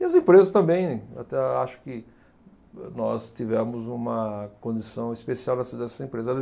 E as empresas também, né, até acho que nós tivemos uma condição especial nessa, nessas empresas. Elas